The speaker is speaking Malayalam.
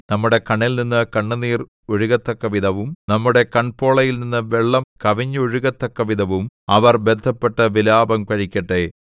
നമ്മുടെ കണ്ണിൽ നിന്ന് കണ്ണുനീർ ഒഴുകത്തക്കവിധവും നമ്മുടെ കൺപോളയിൽനിന്നു വെള്ളം കവിഞ്ഞൊഴുകത്തക്കവിധവും അവർ ബദ്ധപ്പെട്ടു വിലാപം കഴിക്കട്ടെ